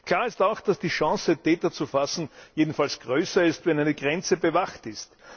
Klar ist auch, dass die Chance, die Täter zu fassen, jedenfalls größer ist, wenn eine Grenze bewacht ist.